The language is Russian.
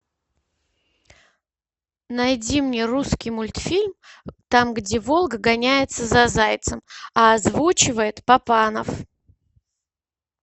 найди мне русский мультфильм там где волк гоняется за зайцем а озвучивает папанов